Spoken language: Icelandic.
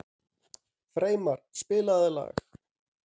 Freymar, spilaðu lag.